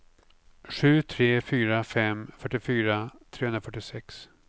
sju tre fyra fem fyrtiofyra trehundrafyrtiosex